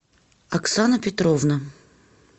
оксана петровна